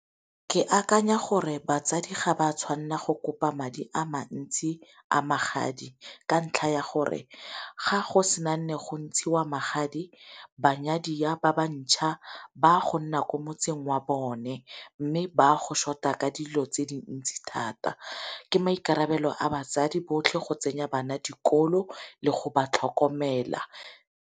Ke akanya gore batsadi ga ba tshwanela go kopa madi a mantsi a magadi ka ntlha ya gore ga go sena nne go ntshiwa magadi banyadiwa ba ba ntjha ba go nna ko motseng wa bone, mme ba go short-a ka dilo tse dintsi thata ke maikarabelo a batsadi botlhe go tsenya bana dikolo le go ba tlhokomela.